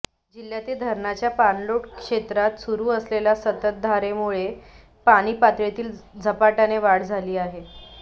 जिल्ह्यातील धरणांच्या पाणलोेट क्षेत्रात सुरू असलेल्या संततधारेमुळे पाणीपातळीत झपाट्याने वाढ झाली आहे